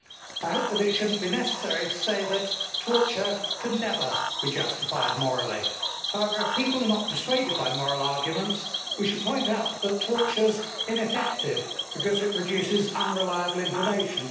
I hope that it should not be necessary to say that torture can never be justified morally. However, if people are not persuaded by moral arguments, we should point out that torture is ineffective because it produces unreliable information.